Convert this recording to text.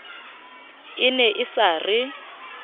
e ne e sa re